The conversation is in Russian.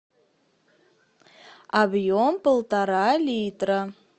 объем полтора литра